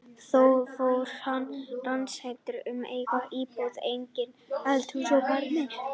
Þá fór hann ránshendi um eigin íbúð, eink- um þó eldhúsið og barinn.